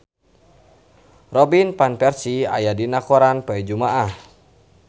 Robin Van Persie aya dina koran poe Jumaah